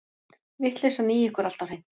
Vitleysan í ykkur alltaf hreint.